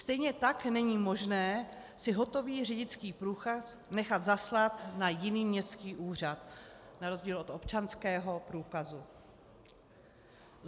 Stejně tak není možné si hotový řidičský průkaz nechat zaslat na jiný městský úřad, na rozdíl od občanského průkazu.